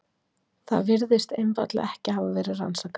Það virðist einfaldlega ekki hafa verið rannsakað.